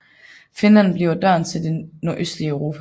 Finland bliver døren til det nordøstlige Europa